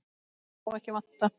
Það sem má ekki vanta!